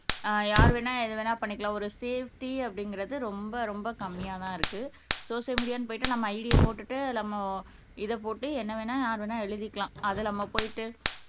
ஆஹ் யாரு வேணா எது வேணா பண்ணிக்கலாம் ஒரு சேப்டி அப்படிங்கறது ரொம்ப ரொம்ப கம்மியாதான் இருக்கு சோசியல் மீடியான்னு போயிட்டு நம்ம ஐடியை போட்டுட்டு நம்ம இதைப் போட்டு என்ன வேணா யார் வேணா எழுதிக்கலாம் அது நம்ம போயிட்டு